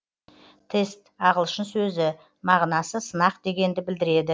тест ағылшын сөзі мағынасы сынақ дегенді білдіреді